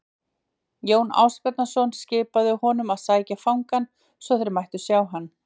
Jón Ásbjarnarson skipaði honum að sækja fangann svo þeir mættu sjá hann.